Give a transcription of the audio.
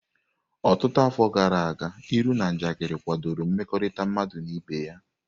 Ọtụtụ afọ gara aga, ilu na njakịrị kwadoro mmekọrịta mmadụ na ibe ya.